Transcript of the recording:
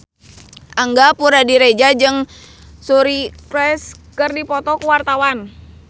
Angga Puradiredja jeung Suri Cruise keur dipoto ku wartawan